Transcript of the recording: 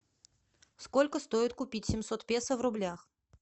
сколько стоит купить семьсот песо в рублях